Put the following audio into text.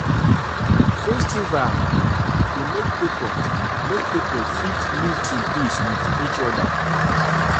my father don plan say we go go village go go village together um for dis Christmas break.